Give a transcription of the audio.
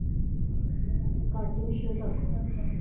cartoon show दाखव